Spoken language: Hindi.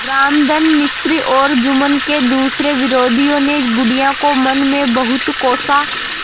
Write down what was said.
रामधन मिश्र और जुम्मन के दूसरे विरोधियों ने बुढ़िया को मन में बहुत कोसा